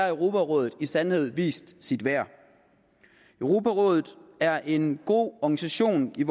europarådet i sandhed vist sit værd europarådet er en god organisation i